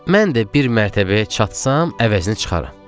mən də bir mərtəbəyə çatsam əvəzini çıxaram.